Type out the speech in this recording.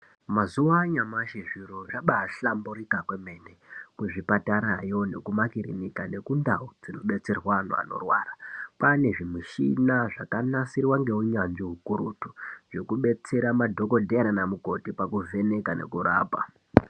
Mazuwa anyamashi zviro zvaba hlamburuka kwemene kuzvipatarayo nekumakirinika nekundau dzinodetserwe antu anorwara kwane zvimushina zvakanasirwa ngeunyanzvi ukurutu zvekudetsera madhokodheya nana mukoti pakuvheneka nekurapa.